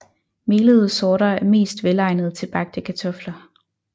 Melede sorter er mest velegnet til bagte kartofler